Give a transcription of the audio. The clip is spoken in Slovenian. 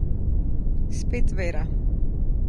Spet vera.